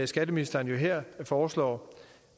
skatteministeren her foreslår